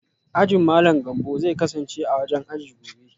Ajin Malam Gambo zai kasance a wajen aji gobe